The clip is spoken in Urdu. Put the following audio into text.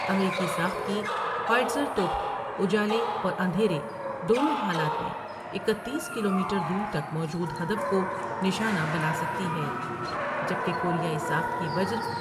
امریکی ساخت کی ہوئیز رتوپ اجالے اور اندھیرے دونوں حالات میں اکتیس کلومیٹر دور تک موجود ہدف کو نشانہ بناسکتی ہے جبکہ کوریائی ساخت کی وجر ۔